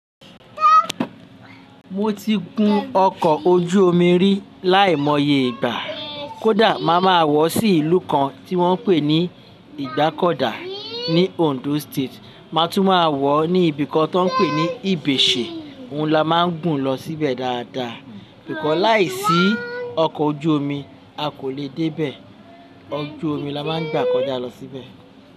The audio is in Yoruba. Mo ti gun ọkọ̀ ojú omi rí láìmọye ìgbà. Kódà màá ma wọ̀ sí ìlú kan tí wọ́n ń pè ní Igbákọ̀dà ní Ondo State. Màá tún máa wọ̀ ní ibìkan tí wọ́n ń pè ní Ibèsè. Ohun la máa ń gùn lọ síbẹ̀ dáadáa. Nkan láìsí ọkọ̀ ojú omi a kò lè débẹ̀. Ọkọ̀ ojú omi la máa ń gbà kọjá lọ síbẹ̀.